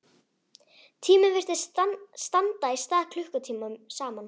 Tíminn virtist standa í stað klukkutímum saman.